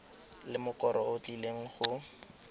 le mokoro o tlileng go